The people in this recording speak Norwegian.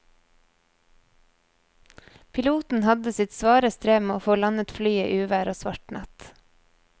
Piloten hadde sitt svare strev med å få landet flyet i uvær og svart natt.